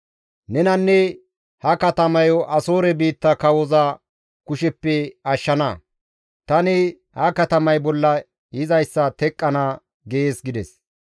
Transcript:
Nenanne ha katamayo Asoore biitta kawoza kusheppe ashshana; tani ha katamay bolla yizayssa teqqana› gees» gides.